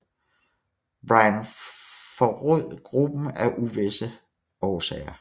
Bryan forrod gruppen af uvisse årsager